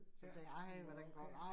Ja, om den var okay